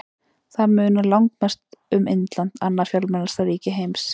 Þar munar langmest um Indland, annað fjölmennasta ríki heims.